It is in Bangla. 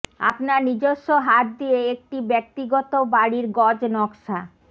আপনার নিজস্ব হাত দিয়ে একটি ব্যক্তিগত বাড়ির গজ নকশা